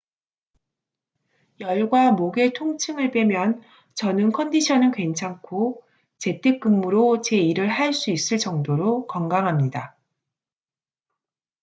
열과 목의 통증을 빼면 저는 컨디션은 괜찮고 재택 근무로 제 일을 할 수 있을 정도로 건강합니다